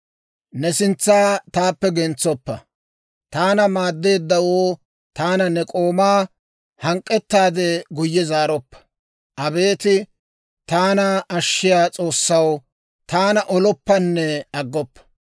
Ne sintsa taappe gentsoppa. Taana maaddeeddawoo, taana ne k'oomaa hank'k'ettaade guyye zaaroppa. Abeet taana ashshiyaa S'oossaw, taana oloppanne aggoppa.